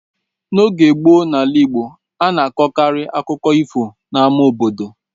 N’oge gboo n’ala Igbo, a na-akọkarị akụkọ ifo n’ama obodo.